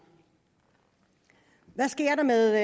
hvad sker der med